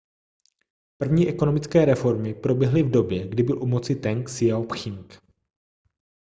první ekonomické reformy proběhly v době kdy byl u moci teng siao-pching